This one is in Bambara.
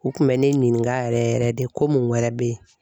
U kun mɛ ne ɲininka yɛrɛ yɛrɛ de ko mun wɛrɛ bɛ ye.